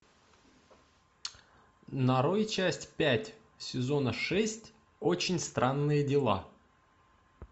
нарой часть пять сезона шесть очень странные дела